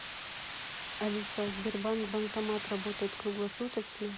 алиса сбербанк банкомат работает круглосуточно